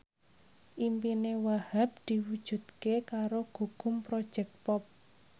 impine Wahhab diwujudke karo Gugum Project Pop